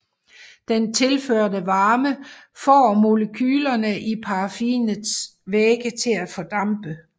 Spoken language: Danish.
Den tilførte varme får molekylerne i paraffinets væge til at fordampe